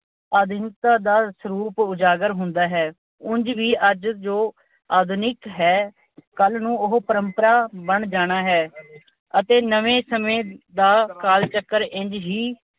ਆਧੁਨਿਕਤਾ ਦਾ ਸਰੂਪ ਉਜਾਗਰ ਹੁੰਦਾ ਹੈ। ਉਂਝ ਵੀ ਅੱਜ ਜੋ ਆਧੁਨਿਕ ਹੈ, ਕੱਲ੍ਹ ਨੂੰ ਉਹ ਪਰੰਪਰਾ ਬਣ ਜਾਣਾ ਹੈ ਅਤੇ ਨਵੇਂ ਸਮੇਂ ਦਾ ਕਾਲ ਚੱਕਰ ਇੰਝ ਹੀ